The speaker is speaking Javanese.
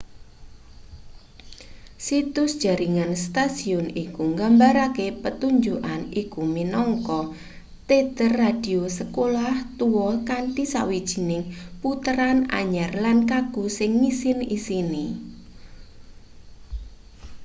situs jaringan stasiun iku nggambarake pertunjukan iku minangka teater radio sekolah tua kanthi sawijining puteran anyar lan kaku sing ngisin-isini